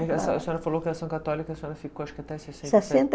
a senhora falou que Ação Católica a senhora ficou acho que até